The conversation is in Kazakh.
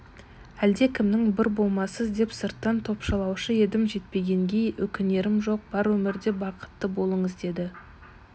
әлдекімнің бір болмассыз деп сырттан топшылаушы едім жетпегенге өкінерім жоқ бар өмірде бақытты болыңыз деді